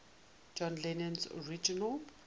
john lennon's original